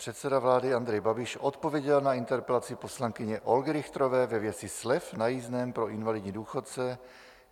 Předseda vlády Andrej Babiš odpověděl na interpelaci poslankyně Olgy Richterové ve věci slev na jízdném pro invalidní důchodce.